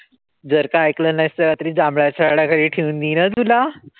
जर का ऐकल नाहीस त रात्री जांभळाच्या झाडाखाली ठेऊन देईन हं तुला.